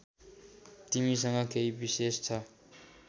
तिमीसँग केही विशेष छ